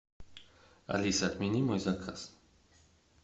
алиса отмени мой заказ